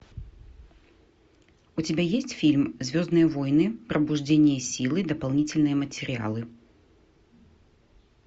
у тебя есть фильм звездные войны пробуждение силы дополнительные материалы